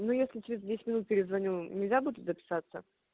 ну если через десять минут перезвоню нельзя буду записаться